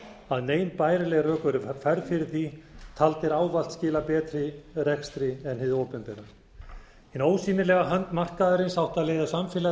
að nein bærileg rök væru færð yfir því taldir ávallt skila betri rekstri en hið opinbera hin ósýnilega hönd markaðarins átti að leiða samfélag